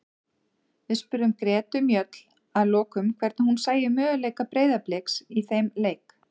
Við spurðum Gretu Mjöll að lokum hvernig hún sæi möguleika Breiðabliks í þeim leik.